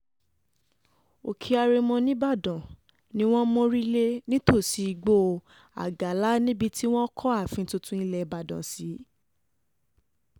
òkè àrèmọ nìbàdàn ni wọ́n mórí lé nítòsí igbó àgálà níbi tí wọ́n kọ́ ààfin tuntun ilẹ̀ ìbàdàn sí